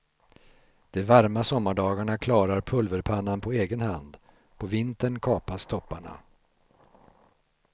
De varma sommardagarna klarar pulverpannan på egen hand, på vintern kapas topparna.